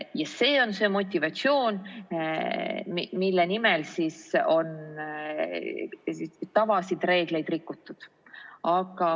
Ja see on see motivatsioon, mille nimel on tavasid ja reegleid rikutud.